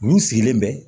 Mun sigilen bɛ